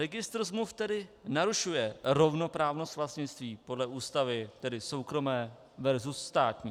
Registr smluv tedy narušuje rovnoprávnost vlastnictví podle Ústavy, tedy soukromé versus státní.